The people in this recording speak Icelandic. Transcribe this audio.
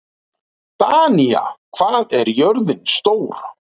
Danía, hvað er jörðin stór?